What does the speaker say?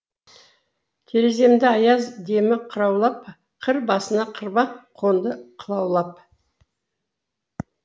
тереземді аяз демі қыраулап қыр басына қырбақ қонды қылаулап